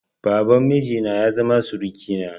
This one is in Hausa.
Baban miji na ya zama surukina.